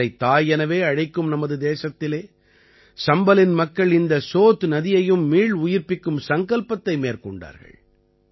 நதிகளைத் தாய் எனவே அழைக்கும் நமது தேசத்திலே சம்பலின் மக்கள் இந்த சோத் நதியையும் மீள் உயிர்ப்பிக்கும் சங்கல்பத்தை மேற்கொண்டார்கள்